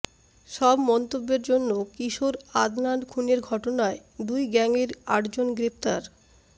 সব মন্তব্যের জন্য কিশোর আদনান খুনের ঘটনায় দুই গ্যাংয়ের আটজন গ্রেপ্তার